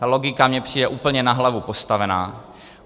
Ta logika mi přijde úplně na hlavu postavená.